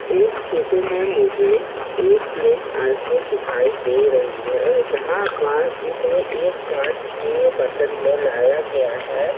इस फोटो में मुझे एक प्लेट आइसक्रीम दिखाई दे रही है जहां पास इसे एक कांच के बर्तन में लाया गया है।